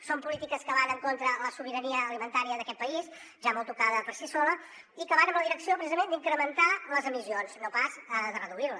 són polítiques que van en contra de la sobirania alimentària d’aquest país ja molt tocada per si sola i que van en la direcció precisament d’incrementar les emissions no pas de reduir les